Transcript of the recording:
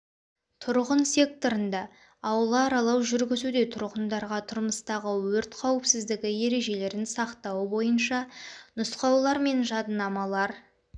тұрғын секторында аула аралау жүргізуде тұрғындарға тұрмыстағы өрт қауіпсіздігі ережелерін сақтау бойынша нұсқаулар және жадынамалар